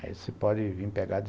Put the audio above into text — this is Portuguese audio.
Aí você pode vir pegar.